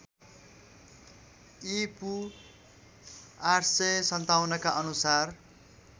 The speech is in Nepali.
ईपू ८५७ का अनुसार